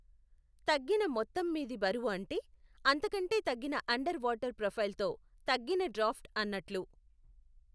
తగ్గిన మొత్తం మీది బరువు అంటే అంతకంటే తగ్గిన అండర్ వాటర్ ప్రొఫైల్తో తగ్గిన డ్రాఫ్ట్ అన్నట్లు.